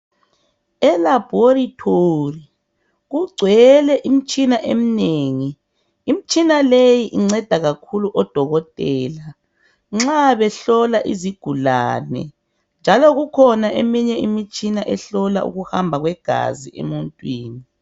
ELaboratory kugcwele imitshina emnengi, imitshina leyi inceda kakhulu odokotela nxa behlola izigulane njalo kukhona eminye imitshina ehlola ukuhamba kwegazi emuntwini.